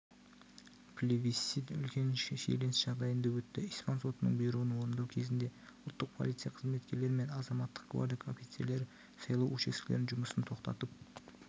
плебисцит үлкен шиеленіс жағдайында өтті испан сотының бұйрығын орындау кезінде ұлттық полиция қызметкерлері мен азаматтық гвардия офицерлері сайлау учаскелерінің жұмысын тоқтатып